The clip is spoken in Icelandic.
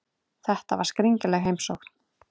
Þetta var skringileg heimsókn.